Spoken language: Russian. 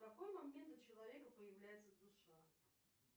в какой момент у человека появляется душа